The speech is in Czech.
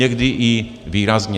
Někdy i výrazně.